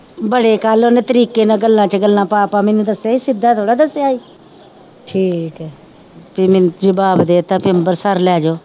ਬੜੇ ਕੱਲ ਓਹਨੇ ਤਰੀਕੇ ਨਾਲ ਗੱਲਾਂ ਚ ਗੱਲਾਂ ਪਾ ਪਾ ਮੈਨੂੰ ਦਸਿਆ ਸੀ ਸਿੱਧਾ ਥੋੜਾ ਦਸਿਆ ਸੀ ਵੀ ਮੈਨੂੰ ਜਬਾਬ ਦਿਤਾ ਪੀ ਅੰਬਰਸਰ ਲੈਜੋ